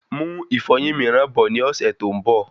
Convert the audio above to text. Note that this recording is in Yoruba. Mú ìfọyín miiran bọ̀ ní ọsẹ tó n bọ